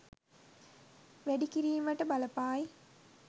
වැඩි කිරීමට බලපායි.